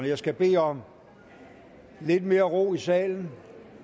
jeg skal bede om lidt mere ro i salen